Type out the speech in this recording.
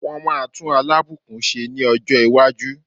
Wọ́n máa tún Alábùkún ṣe ní ọjọ́ iwájú.